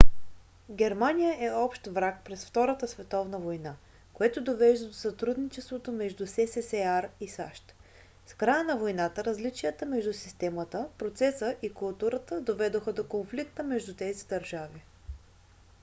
германия е общ враг през втората световна война което довежда до сътрудничеството между ссср и сащ. с края на войната различията между системата процеса и културата доведоха до конфликта между тези държави